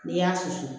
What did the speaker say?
N'i y'a susu